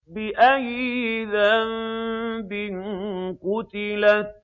بِأَيِّ ذَنبٍ قُتِلَتْ